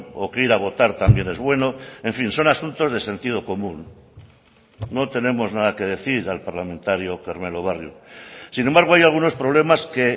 o que ir a votar también es bueno en fin son asuntos de sentido común no tenemos nada que decir al parlamentario carmelo barrio sin embargo hay algunos problemas que